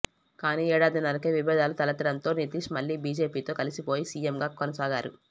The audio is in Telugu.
కానీ ఏడాదిన్నరకే విభేదాలు తలెత్తడంతో నితీశ్ మళ్లీ బీజేపీతో కలిసిపోయి సీఎంగా కొనసాగారు